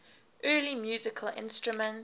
early musical instruments